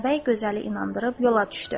Atabəy gözəli inandırıb yola düşdü.